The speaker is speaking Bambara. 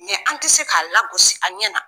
an tɛ se k'a lagosi a ɲɛna.